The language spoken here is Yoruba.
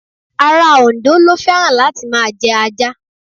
Ará Òǹdó ló fẹ́ràn láti máa jẹ ajá.